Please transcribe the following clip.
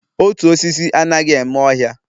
Otu osisi anaghị eme ọhịa